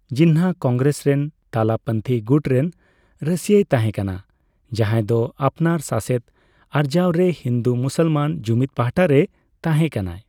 ᱡᱤᱱᱱᱟᱦᱚ ᱠᱚᱝᱜᱨᱮᱥ ᱨᱮᱱ ᱛᱟᱞᱟᱯᱚᱱᱛᱷᱤ ᱜᱩᱴ ᱨᱮᱱ ᱨᱟᱹᱥᱭᱟᱹᱭ ᱛᱟᱦᱮᱸ ᱠᱟᱱᱟ, ᱡᱟᱦᱟᱭᱫᱚ ᱟᱯᱱᱟᱨ ᱥᱟᱥᱮᱛ ᱟᱨᱡᱟᱣᱨᱮ ᱦᱤᱱᱫᱩᱼᱢᱩᱥᱚᱞᱢᱟᱱ ᱡᱩᱢᱤᱫ ᱯᱟᱦᱚᱴᱟ ᱨᱮᱭ ᱛᱟᱦᱮᱸ ᱠᱟᱱᱟ ᱾